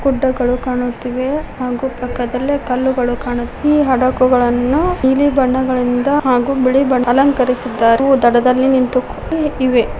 ಗುಡ್ಡಗಳು ಕಾಣುತ್ತಿವೆ ಹಾಗು ಪಕ್ಕದಲ್ಲೆ ಕಲ್ಲುಗಳು ಕಾಣು ಈ ಹಾಡಗುಗಳನ್ನು ನೀಲಿ ಬಣ್ಣಗಳಿಂದ ಹಾಗು ಬಿಳಿ ಬಣ್ಣ ಅಲಂಕಾರಿಸಿದ್ದಾರೆ ಹಾಗು ದಡದಲ್ಲಿ ನಿಂತುಕೊಂಡು ಇವೆ.